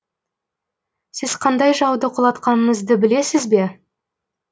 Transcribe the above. сіз қандай жауды құлатқаныңызды білесіз бе